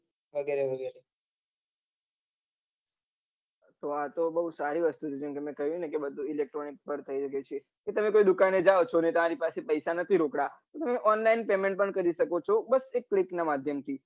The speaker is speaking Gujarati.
હા આતો ખુબ સારી વસ્તુ છે મેં તમને કહ્યું ને બઘુ electronic પર થયું છે તમે કઈ દુકાને જાઉં અને તારી પાસે પૈસા નથી રોકડા તમે online payment કરી સકો છે બસ એક APP ના માઘ્યમ થી